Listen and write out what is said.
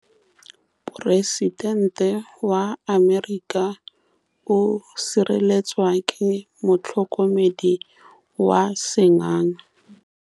Poresitêntê wa Amerika o sireletswa ke motlhokomedi wa sengaga.